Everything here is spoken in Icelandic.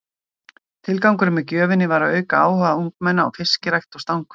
Tilgangurinn með gjöfinni var að auka áhuga ungmenna á fiskirækt og stangveiði.